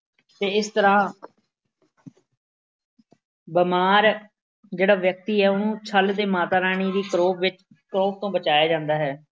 ਅਤੇ ਇਸ ਤਰ੍ਹਾਂ ਬਿਮਾਰ ਜਿਹੜਾ ਵਿਅਕਤੀ ਹੈ ਉਹਨੂੰ ਛੱਲ ਦੇ ਮਾਤਾ ਰਾਣੀ ਦੀ ਪਰੋਕ ਵਿੱਚ ਕਰੋਪ ਤੋਂ ਬਚਾਇਆ ਜਾਂਦਾ ਹੈ।